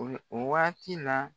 O waati la